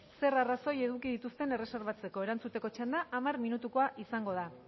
zer arrazoi eduki dituzten erreserbatzeko erantzuteko txanda hamar minutukoa izango da